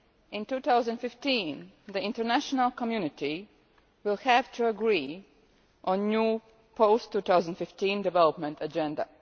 In 2015, the international community will have to agree on a new post 2015 development agenda.